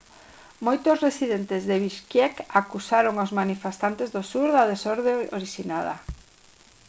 moitos residentes de bishkek acusaron aos manifestantes do sur da desorde orixinada